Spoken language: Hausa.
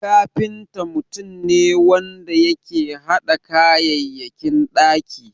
Kafinta mutum ne wanda yake hada kayayyakin ɗaki.